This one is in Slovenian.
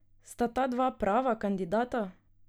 Sta ta dva prava kandidata?